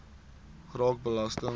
raak belasting